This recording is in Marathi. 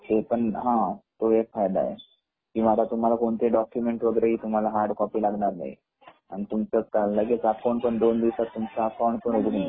हा तो पण फायदा आहे पण आता तुम्हाला कोणते डाकुमेन्ट वैगेरे कोणतीही हार्ड कॉपी लागणार नाही आणि लगेच तुमच अकाउंट पण दोन दिवसात